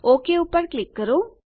okay ઉપર click કરો